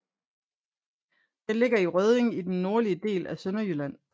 Den ligger i Rødding i den nordlige del af Sønderjylland